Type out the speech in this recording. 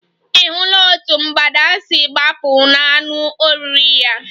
Ị̀ hụla otú mgbada si gbapụ n'anụ oriri ya?